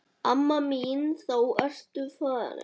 Amma mín þá ertu farin.